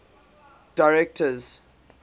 directors